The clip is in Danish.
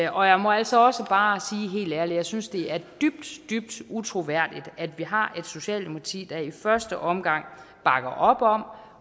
og jeg må altså også bare sige helt ærligt at jeg synes det er dybt dybt utroværdigt at vi har et socialdemokrati der i første omgang bakker op om